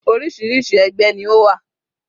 Orísirísi ẹgbẹ́ ni ó wà.